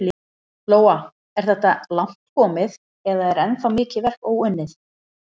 Lóa: Er þetta langt komið eða er ennþá mikið verk óunnið?